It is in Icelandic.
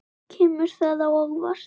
Kemur það á óvart?